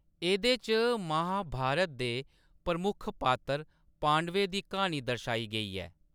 एह्‌‌‌दे च महाभारत दे प्रमुख पात्तर, पांडवें दी क्हानी दर्शाई गेई ऐ।